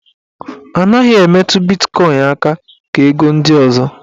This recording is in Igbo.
A naghị emetụ bitkọin aka ka ego ndị ọzọ.